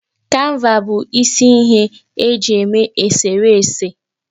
Kanva bụ isi ihe e ji eme eserese